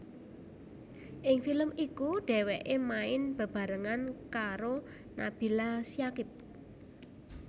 Ing film iku dheweke main bebarengan karo Nabila Syakib